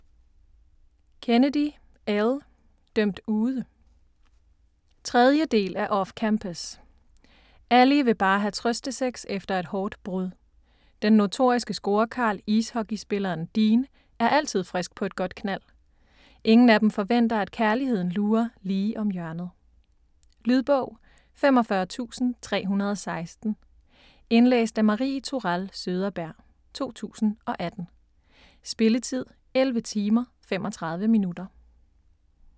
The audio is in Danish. Kennedy, Elle: Dømt ude 3. del af Off-campus. Allie vil bare have trøstesex efter et hårdt brud. Den notoriske scorekarl, ishockeyspilleren Dean, er altid frisk på et godt knald. Ingen af dem forventer, at kærligheden lurer lige om hjørnet. Lydbog 45316 Indlæst af Marie Tourell Søderberg, 2018. Spilletid: 11 timer, 35 minutter.